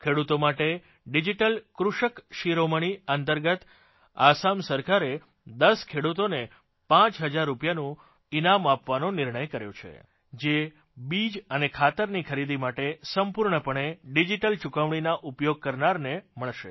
ખેડૂતો માટે ડિજીટલ કૃષક શિરોમણી અંતર્ગત અસમ સરકારે 10 ખેડૂતોને 5 હજાર રૂપિયાનું ઇનામ આપવાનો નિર્ણય કર્યો છે જે બીજ અને ખાતરની ખરીદી માટે સંપૂર્ણપણે ડિજીટલ ચૂકવણીના ઉપયોગ કરનારને મળશે